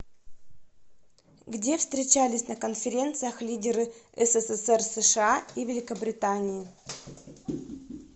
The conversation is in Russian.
где встречались на конференциях лидеры ссср сша и великобритании